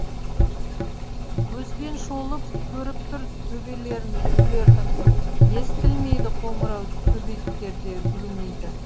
көзбен шолып көріп тұр төбелерін үйлердің естілмейді қоңырау төбеттер де үрмейді